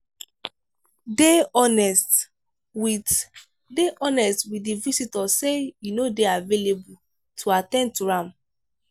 dey honest with dey honest with di visitor sey you no dey available to at ten d to am